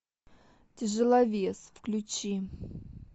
тяжеловес включи